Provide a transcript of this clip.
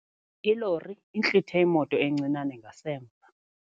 Ilori intlithe imoto encinane ngasemva.